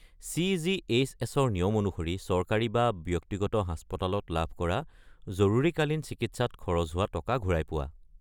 চি.জি.এইচ.এছ.-ৰ নিয়ম অনুসৰি চৰকাৰী বা ব্যক্তিগত হাস্পতালত লাভ কৰা জৰুৰীকালীন চিকিৎসাত খৰচ হোৱা টকা ঘূৰাই পোৱা।